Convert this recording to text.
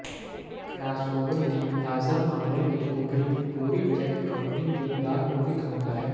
crossover ਦੀ ਤਾਜ਼ਾ model ਵਿਚ ਉਭਰੀ ਪੂਰੀ ਚੈੱਕ ਕੰਪਨੀ ਦੇ ਦਾਗ ਨੂੰ ਵੇਖਾਉਦਾ ਹੈ